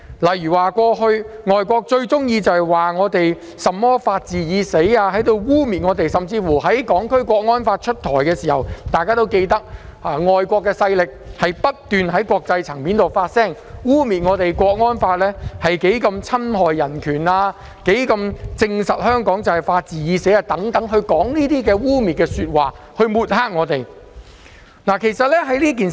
例如，外國勢力過去經常以"法治已死"一語污衊香港，甚至在提出制定《香港國安法》時不斷在國際層面發聲，污衊《香港國安法》侵害人權、證明香港法治已死等，藉以抹黑香港，相信大家對此均記憶猶新。